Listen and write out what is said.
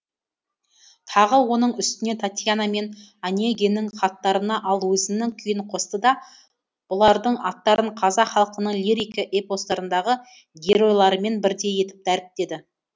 тағы оның үстіне татьяна мен онегиннің хаттарына ал өзінің күйін қосты да бұлардың аттарын қазақ халқының лирика эпостарындағы геройларымен бірдей етіп дәріптеді